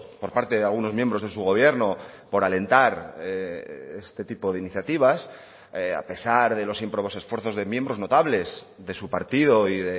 por parte de algunos miembros de su gobierno por alentar este tipo de iniciativas a pesar de los ímprobos esfuerzos de miembros notables de su partido y